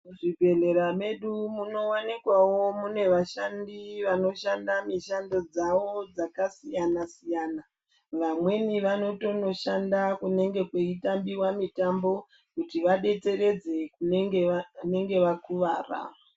Mu zvibhehlera medu muno wanikwawo mune vashandi vanoshanda mishando dzavo dzaka siyana siyana vamweni vanotono shanda kunenge kwei tambiwa mitambo kuti vabetseredze kunenge vakuvara.